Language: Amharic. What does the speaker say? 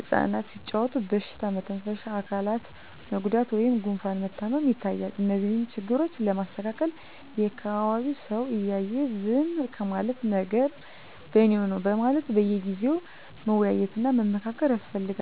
እፃናት ሲጫዎቱ በሽታ መተንፈሻ አካላት መጎዳት ወይም ጉፋን መታመም ይታያል። እነዚህን ችግሮች ለማስተካከል የአካቢዉ ሰው እያየ ዝም ከማለት ነገም በኔነው በማለት በየጊዜው መወያየት እና መመካከር ያስፈልጋል።